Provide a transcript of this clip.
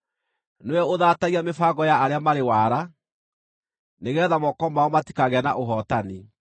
Nĩwe ũthaatagia mĩbango ya arĩa marĩ waara, nĩgeetha moko mao matikagĩe na ũhootani.